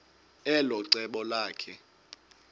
elo cebo lakhe